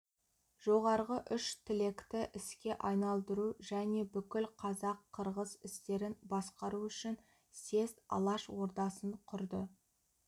жоғарғы үш тілекті іске айналдыру және бүкіл қазақ-қырғыз істерін басқару үшін съезд алаш ордасын құрды